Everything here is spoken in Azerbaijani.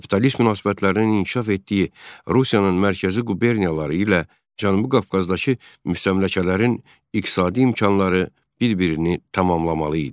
Kapitalist münasibətlərinin inkişaf etdiyi Rusiyanın mərkəzi quberniyaları ilə Cənubi Qafqazdakı müstəmləkələrin iqtisadi imkanları bir-birini tamamlamalı idi.